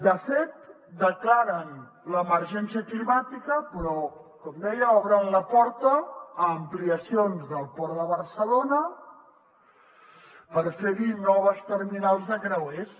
de fet declaren l’emergència climàtica però com deia obren la porta a ampliacions del port de barcelona per fer hi noves terminals de creuers